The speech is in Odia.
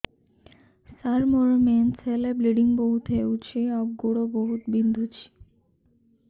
ସାର ମୋର ମେନ୍ସେସ ହେଲେ ବ୍ଲିଡ଼ିଙ୍ଗ ବହୁତ ହଉଚି ଆଉ ଗୋଡ ବହୁତ ବିନ୍ଧୁଚି